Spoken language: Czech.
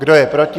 Kdo je proti?